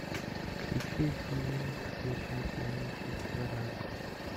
включи фильм вечное сияние чистого разума